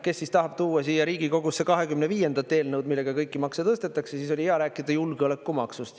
Kes siis tahab tuua siia Riigikogusse 25. eelnõu, millega kõiki makse tõstetakse, siis oli hea rääkida julgeolekumaksust.